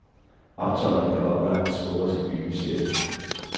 Optøjerne kan oplagt spores i byens sjæl.